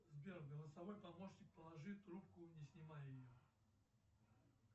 сбер голосовой помощник положи трубку не снимая ее